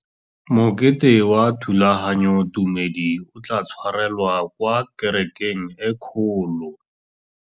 Mokete wa thulaganyôtumêdi o tla tshwarelwa kwa kerekeng e kgolo.